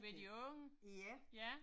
Med de unge. Ja